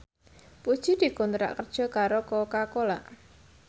Puji dikontrak kerja karo Coca Cola